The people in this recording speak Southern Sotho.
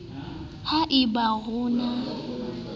ha e ba ho na